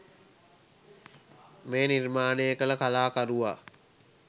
මේ නිර්මාණය කළ කලාකරුවා